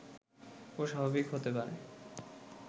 ও স্বাভাবিক হতে পারে